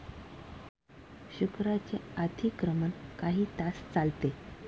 शुक्राचे अधिक्रमण काही तास चालते.